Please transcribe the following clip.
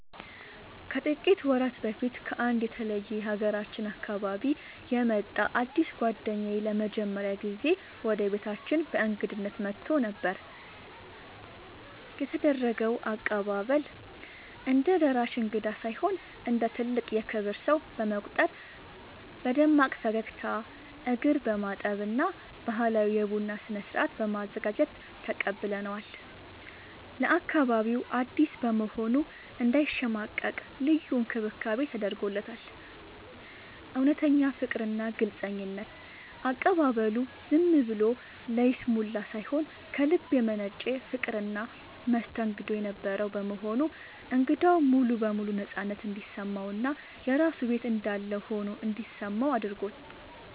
ከጥቂት ወራት በፊት ከአንድ የተለየ የሀገራችን አካባቢ የመጣ አዲስ ጓደኛዬ ለመጀመሪያ ጊዜ ወደ ቤታችን በእንግድነት መጥቶ ነበር። የተደረገው አቀባበል፦ እንደ ደራሽ እንግዳ ሳይሆን እንደ ትልቅ የክብር ሰው በመቁጠር በደማቅ ፈገግታ፣ እግር በማጠብ እና ባህላዊ የቡና ስነ-ስርዓት በማዘጋጀት ተቀብለነዋል። ለአካባቢው አዲስ በመሆኑ እንዳይሸማቀቅ ልዩ እንክብካቤ ተደርጎለታል። እውነተኛ ፍቅርና ግልጽነት፦ አቀባበሉ ዝም ብሎ ለይስሙላ ሳይሆን ከልብ የመነጨ ፍቅርና መስተንግዶ የነበረው በመሆኑ እንግዳው ሙሉ በሙሉ ነፃነት እንዲሰማውና የራሱ ቤት እንዳለ ሆኖ እንዲሰማው አድርጎታል።